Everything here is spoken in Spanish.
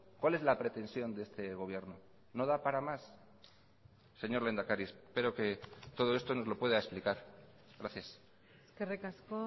cuál es la pretensión de este gobierno no da para más señor lehendakari espero que todo esto nos lo pueda explicar gracias eskerrik asko